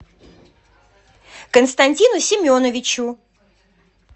константину семеновичу